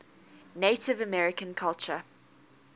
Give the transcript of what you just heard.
native american culture